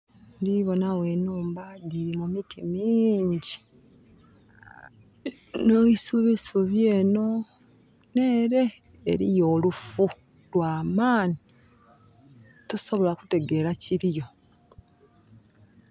Ndibona wo enhumba diri mu miti mingi ne isubisubi eno nere eriyo olufu lwa maani tosobola kutegera kiriyo